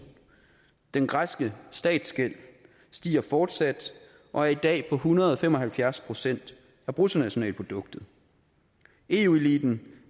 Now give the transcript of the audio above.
den græske statsgæld stiger fortsat og er i dag på en hundrede og fem og halvfjerds procent af bruttonationalproduktet eu eliten